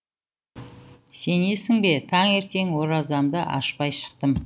сенесің бе тәңертең оразамды ашпай шықтым